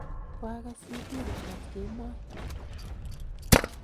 koagas CD langat kemoi.